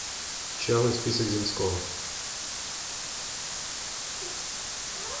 черный список земского